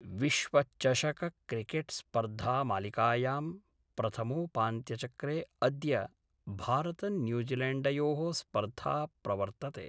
विश्वचषकक्रिकेटस्पर्धामालिकायाम् प्रथमोपान्त्यचक्रे अद्य भारतन्यूजीलैण्डयोः स्पर्धा प्रवर्तते।